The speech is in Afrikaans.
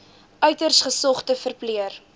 uiters gesogde verpleër